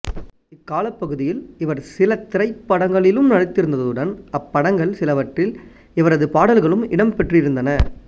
இக் காலப்பகுதியில் இவர் சில திரைப்படங்களிலும் நடித்திருந்ததுடன் அப்படங்கள் சிலவற்றில் இவரது பாடல்களும் இடம்பெற்றிருந்தன